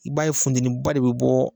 I b'a ye funteniba de bɛ bɔ